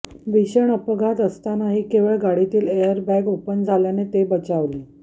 भीषण अपघात असतानाही केवळ गाडीतील एअरबॅग ओपन झाल्याने ते बचावले